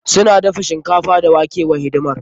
Suna dafa shinkafa da wake wa hidimar.